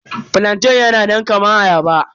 Flantain yana nan kaman ayaba.